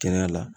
Kɛnɛya la